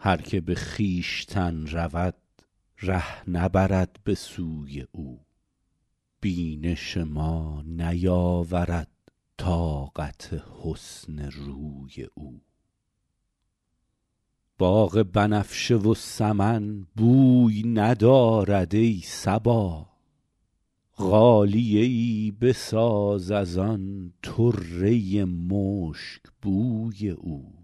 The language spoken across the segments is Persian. هر که به خویشتن رود ره نبرد به سوی او بینش ما نیاورد طاقت حسن روی او باغ بنفشه و سمن بوی ندارد ای صبا غالیه ای بساز از آن طره مشکبوی او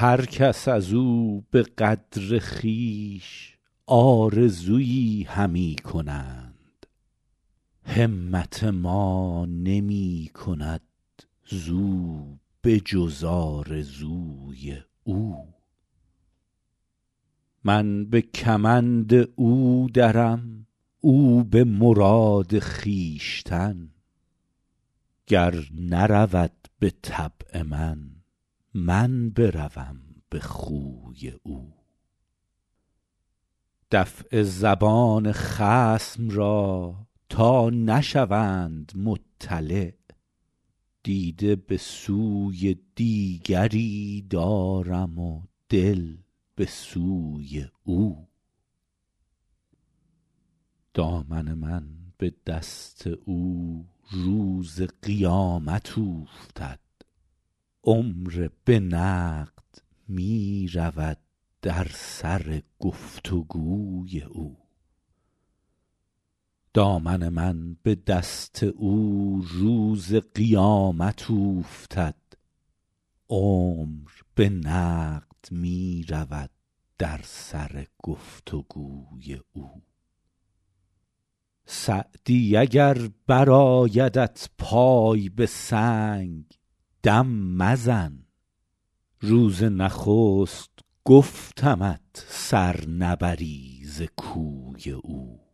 هر کس از او به قدر خویش آرزویی همی کنند همت ما نمی کند زو به جز آرزوی او من به کمند او درم او به مراد خویشتن گر نرود به طبع من من بروم به خوی او دفع زبان خصم را تا نشوند مطلع دیده به سوی دیگری دارم و دل به سوی او دامن من به دست او روز قیامت اوفتد عمر به نقد می رود در سر گفت و گوی او سعدی اگر برآیدت پای به سنگ دم مزن روز نخست گفتمت سر نبری ز کوی او